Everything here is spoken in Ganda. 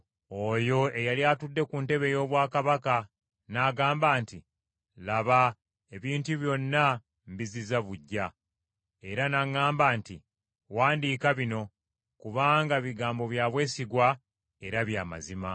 Oyo eyali atudde ku ntebe ey’obwakabaka n’agamba nti, “Laba, ebintu byonna mbizzizza buggya.” Era n’aŋŋamba nti, “Wandiika bino, kubanga bigambo bya bwesigwa era bya mazima!”